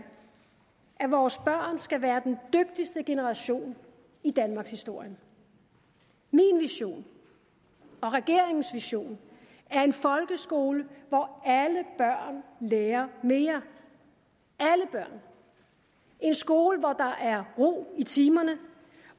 at vores børn skal være den dygtigste generation i danmarkshistorien min vision og regeringens vision er en folkeskole hvor alle børn lærer mere alle børn en skole hvor der er ro i timerne